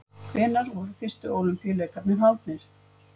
Hvenær voru fyrstu Ólympíuleikarnir haldnir?